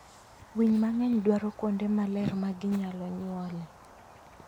Winy mang'eny dwaro kuonde maler ma ginyalo nyuolee.